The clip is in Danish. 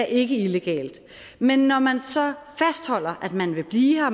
ikke illegalt men når man så fastholder at man vil blive her og